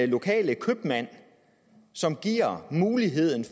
lokale købmand som giver muligheden